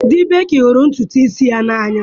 Di Beky hụrụ ntutu isi ya n'anya.